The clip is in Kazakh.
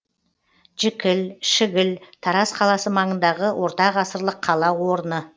жікіл шігіл тараз қаласы маңындағы ортағасырлық қала орны